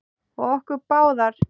Og okkur báðar.